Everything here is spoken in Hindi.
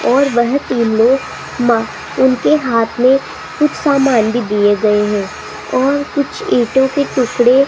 और वह तीन लोग मा उनके हाथ में कुछ सामान भी दिए गए हैं और कुछ ईंटों के टुकड़े --